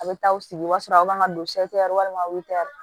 A bɛ taa aw sigi o b'a sɔrɔ a kan ka don walima